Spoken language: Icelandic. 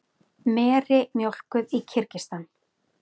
Meri mjólkuð í Kirgistan.